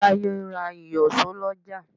Táyé ń ra ìyọ̀ṣó lọ́jà.